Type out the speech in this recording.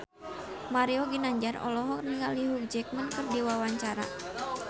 Mario Ginanjar olohok ningali Hugh Jackman keur diwawancara